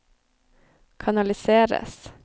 kanaliseres